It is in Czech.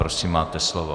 Prosím, máte slovo.